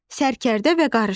Sərkərdə və qarışqa.